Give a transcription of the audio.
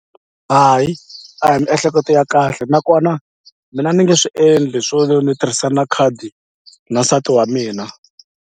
Hayi a hi miehleketo ya kahle nakona mina ni nge swi endli swo ni ni tirhisa na khadi na nsati wa mina.